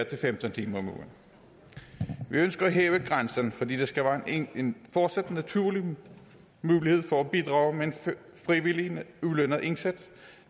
til femten timer om ugen vi ønsker at hæve grænsen fordi der skal være en fortsat naturlig mulighed for at bidrage med en frivillig ulønnet indsats